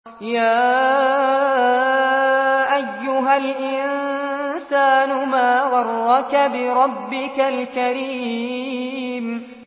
يَا أَيُّهَا الْإِنسَانُ مَا غَرَّكَ بِرَبِّكَ الْكَرِيمِ